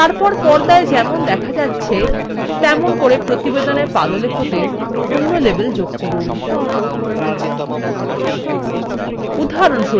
তারপর পর্দায় যেমন দেখা যাচ্ছে তেমন আমাদের প্রতিবেদনের পাদলেখতে অন্য label যোগ করুন